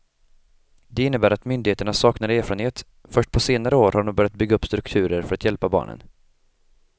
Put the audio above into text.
Det innebär att myndigheterna saknar erfarenhet, först på senare år har de börjat bygga upp strukturer för att hjälpa barnen.